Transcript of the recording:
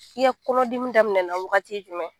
I ya kɔnɔdimi daminɛna waagati jumɛn?